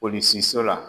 Polisi so la